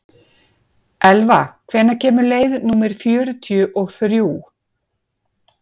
Elva, hvenær kemur leið númer fjörutíu og þrjú?